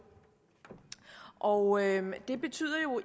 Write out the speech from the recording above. og det betyder